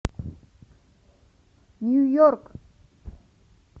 нью йорк